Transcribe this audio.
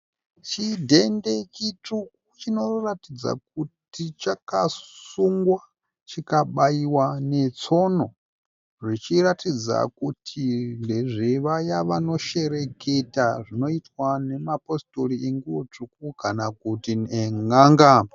Chidhende chitsvuku chinoratidza kuti chakasungwa chikabaiwa netsono zvichiratidza kuti ndezvevaya vanoshereketa zvinoitwa nemapositori enguwo tsvuku kana kuti en`anga.